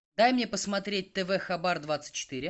дай мне посмотреть тв хабар двадцать четыре